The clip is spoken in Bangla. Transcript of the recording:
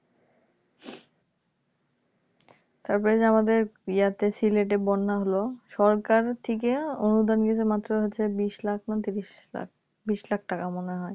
তারপরে যে আমাদের . সিলেটে বন্যা হলো সরকার থেকে অনুদান দিয়েছে মাত্র হচ্ছে বিশ লাখ না ত্রিশ লাখ বিশ লাখ টাকা মনে হয়